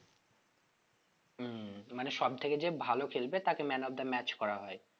হম মানে সব থেকে যে ভালো খেলবে man of the match করা হয়ে